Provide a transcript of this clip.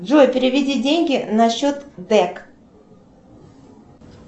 джой переведи деньги на счет дэк